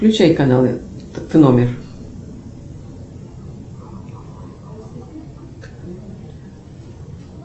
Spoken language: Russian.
включай каналы номер